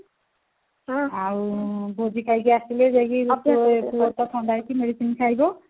ଆଉ ଭୋଜି ଖାଇକି ଆସିଲେ ଯାଇକି ଥଣ୍ଡା ହେଇଛି medicine ଖାଇବୁ